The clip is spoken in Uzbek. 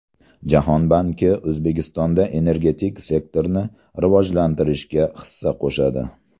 Jahon banki O‘zbekistonda energetik sektorni rivojlantirishga hissa qo‘shadi.